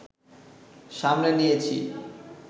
সামলে নিয়েছি